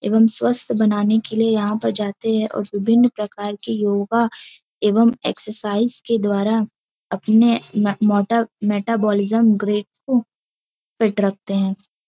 एवं स्वस्थ बनाने के लिए यहाँ पर जाते हैं और विभिन्न प्रकार की योगा एवं एक्सरसाइज के द्वारा अपने मो मोटा- मेटा- मेटाबॉलिज्म ग्रेड को फिट रखते हैं।